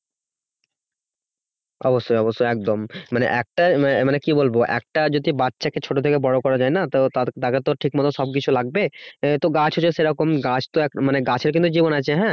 অবশ্যই অবশ্যই একদম মানে একটাই মানে মানে কি বলবো একটা যদি বাচ্চাকে ছোট থেকে বড় করা যায় না তো তার তাকে তো ঠিক মতো সবকিছু লাগবে। আহ তো গাছ হচ্ছে সেরকম গাছ তো এক মানে গাছের কিন্তু জীবন আছে হ্যাঁ